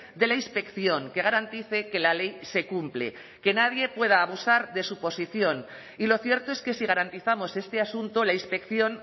de la inspección que garantice que la ley se cumple que nadie pueda abusar de su posición y lo cierto es que si garantizamos este asunto la inspección